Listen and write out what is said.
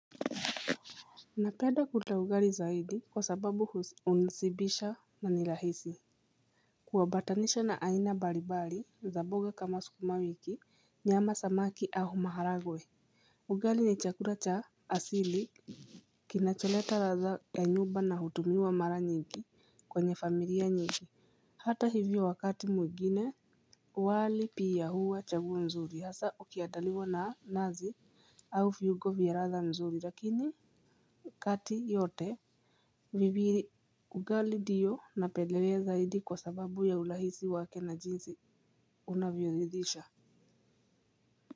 Napenda kula ugali zaidi kwa sababu hunishibisha na ni rahisi kuambatanisha na aina mbalimbali za mboga kama sukuma wiki nyama samaki au maharagwe. Ugali ni chakula cha asili kinacholeta ladha ya nyumba na hutumiwa mara nyingi kwenye familia nyingi. Hata hivyo wakati mwingine wali pia huwa chaguo nzuri ukiandaliwa na nazi au viugo vya ladha nzuri lakini kati yote viviri ugali ndio napendelea zaidi kwa sababu ya urahisi wake na jinsi unavyoridhisha.